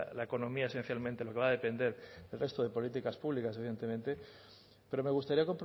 la economía esencialmente lo que va a depender del resto de políticas públicas evidentemente pero me gustaría